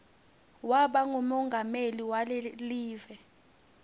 waba ngumongameli walekive